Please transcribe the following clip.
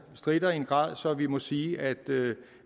stritte i en grad så vi må sige at